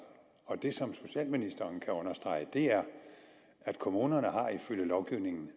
og det som socialministeren kan understrege er at kommunerne ifølge lovgivningen